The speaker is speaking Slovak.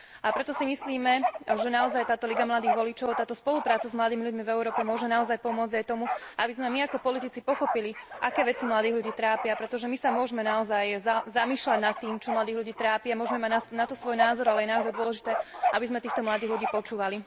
Preto si myslíme, že táto Liga mladých voličov, táto spolupráca s mladými ľuďmi v Európe môže naozaj pomôcť aj tomu, aby sme my ako politici pochopili, aké veci mladých ľudí trápia, pretože my sa môžeme naozaj zamýšľať nad tým, čo mladých ľudí trápi, a môžeme mať na to svoj názor, ale je naozaj dôležité, aby sme týchto mladých ľudí počúvali.